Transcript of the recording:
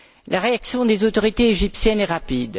La réaction des autorités égyptiennes est rapide.